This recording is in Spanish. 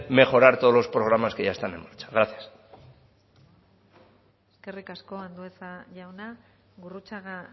mejorar todos los programas que ya están en marcha gracias eskerrik asko andueza jauna gurrutxaga